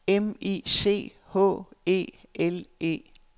M I C H E L E